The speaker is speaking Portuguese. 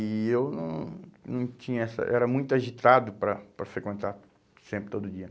E eu não não tinha essa... Era muito agitado para para frequentar sempre, todo dia.